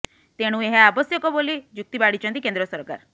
ତେଣୁ ଏହା ଆବଶ୍ୟକ ବୋଲି ଯୁକ୍ତି ବାଢ଼ିଛନ୍ତି କେନ୍ଦ୍ର ସରକାର